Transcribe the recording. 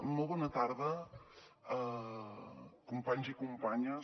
molt bona tarda companys i companyes